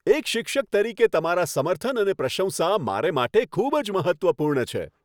એક શિક્ષક તરીકે તમારા સમર્થન અને પ્રશંસા મારે માટે ખૂબ જ મહત્ત્વપૂર્ણ છે.